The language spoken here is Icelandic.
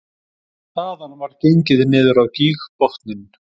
Þaðan var gengið niður á gígbotninn